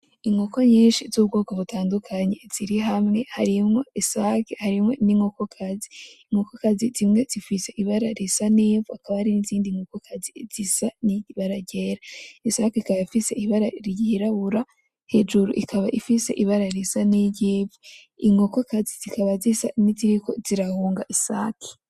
Inkoko nyinshi z'ubwoko butandukanye ziri hamwe. Harimwo isake harimwo n'inkoko kazi. Inkoko kazi zimwe zifise ibara risa n'ivu, hakaba hari n'izindi nkoko kazi zisa n'ibara ryera. Isake ikaba ifise ibara ryirabura, hejuru ikaba ifise ibara risa n'iry'ivu. Inkoko kazi zikaba zisa niziriko zirahunga isake.